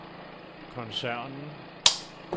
koncernen